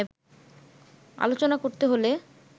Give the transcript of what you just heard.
আলোচনা করতে হলে